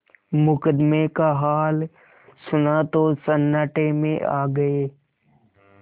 मुकदमे का हाल सुना तो सन्नाटे में आ गये